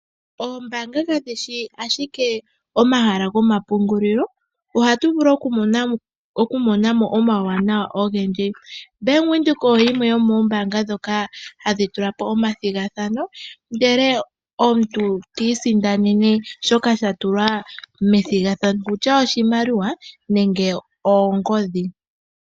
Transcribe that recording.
Oombaanga kadhi shi ashike omahala gomapungulilo ashike ohatu vulu okumona mo omauwanawa ogendji. Bank Windhoek oyo yimwe yomoombaanga ndhoka hadhi tula po omathigathano, ndele omuntu ti isindane shoka sha tulwa methigathano okutya oshimaliwa nenge oongodhi.